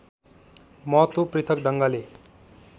महत्व पृथक ढङ्गले